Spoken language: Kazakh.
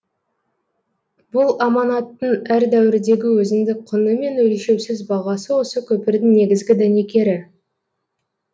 бұл аманаттың әр дәуірдегі өзіндік құны мен өлшеусіз бағасы осы көпірдің негізгі дәнекері